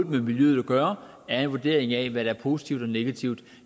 med miljøet at gøre er en vurdering af hvad der er positivt og negativt